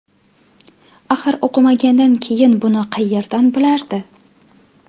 Axir o‘qimagandan keyin buni qayerdan bilardi?